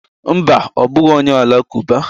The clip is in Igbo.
Mba, ọ bụghị onye Alakụba.